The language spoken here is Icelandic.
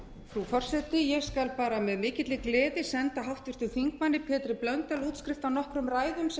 frú forseti ég skal með mikilli gleði senda háttvirtur þingmaður pétri blöndal útskrift á nokkrum ræðum sem